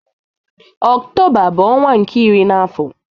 Ọktoba bu ọnwa nke iri na afo